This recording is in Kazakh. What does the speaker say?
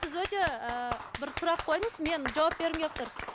сіз өте ыыы бір сұрақ қойдыңыз мен жауап бергім келіп тұр